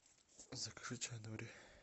закажи чай нури